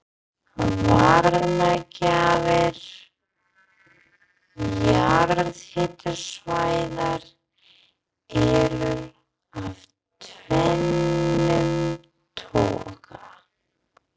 Varmagjafar jarðhitasvæða eru af tvennum toga.